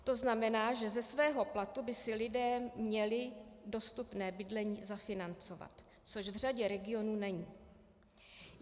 To znamená, že ze svého platu by si lidé měli dostupné bydlení zafinancovat, což v řadě regionů není.